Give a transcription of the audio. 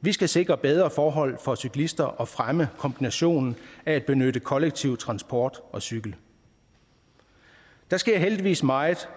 vi skal sikre bedre forhold for cyklister og fremme kombinationen af at benytte kollektiv transport og cykel der sker heldigvis meget